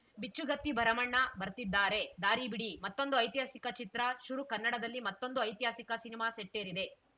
ಬಿಚ್ಚುಗತ್ತಿ ಭರಮಣ್ಣ ಬರ್ತಿದಾರೆ ದಾರಿಬಿಡಿ ಮತ್ತೊಂದು ಐತಿಹಾಸಿಕ ಚಿತ್ರ ಶುರು ಕನ್ನಡದಲ್ಲಿ ಮತ್ತೊಂದು ಐತಿಹಾಸಿಕ ಸಿನಿಮಾ ಸೆಟ್ಟೇರಿದೆ